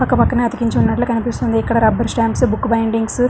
పక్క పక్కనే అతికుంచున్నట్లు కనిపిస్తుంది ఇక్కడ రబ్బరు స్టాంప్స్ బుక్ బైండిగ్సు --